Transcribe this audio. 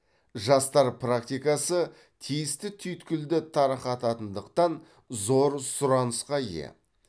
жастар практикасы тиісті түйткілді тарқататындықтан зор сұранысқа ие